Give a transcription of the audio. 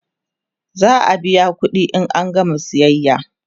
za'a biya ƙuɗi in an gama sayayya